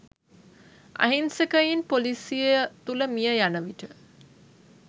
අහිංසකයින් පොලිසිය තුල මිය යනවිට